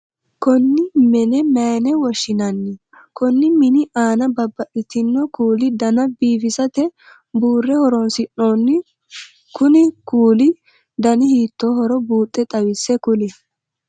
Konni menne mayine woshinnanni? Konni minni aanna babbaxino kuuli danna biifissate buure hee'noonni kunni kuulihu danni hiittoohoro buuxe xawise kuli?